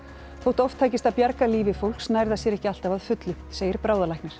þótt oft takist að bjarga lífi fólks nær það sér ekki alltaf að fullu segir